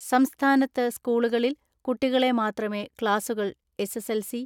സംസ്ഥാനത്ത് സ്കൂളുകളിൽ കുട്ടികളെ മാത്രമേ ക്ലാസുകൾ എസ്.എസ്.എൽ.സി,